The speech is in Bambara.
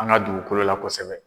An ka dugukolo la kosɛbɛ.